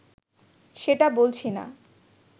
সেটা বলছি না